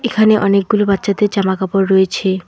এখানে অনেকগুলো বাচ্চাদের জামা কাপড় রয়েছে।